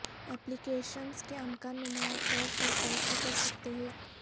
ایپلی کیشنز کے امکان نمایاں طور پر توسیع کر سکتے ہیں